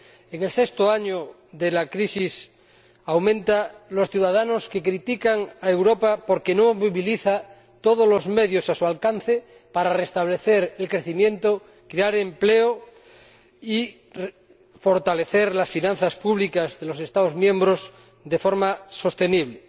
En el sexto año de la crisis, aumenta el número de ciudadanos que critican a Europa porque no moviliza todos los medios a su alcance para restablecer el crecimiento, crear empleo y fortalecer las finanzas públicas de los Estados miembros de forma sostenible.